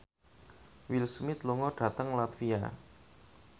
Will Smith lunga dhateng latvia